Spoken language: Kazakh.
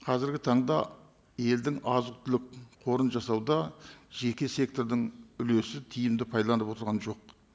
қазіргі таңда елдің азық түлік қорын жасауда жеке сектордың үлесі тиімді пайдаланып отырған жоқ